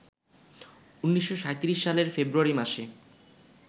১৯৩৭ সালের ফেব্রুয়ারি মাসে